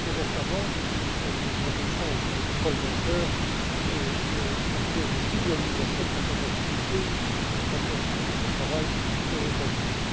Plus récemment, les propositions de Paul Volcker et la clause de filialisation de certaines activités ont poursuivi ce travail aux États Unis.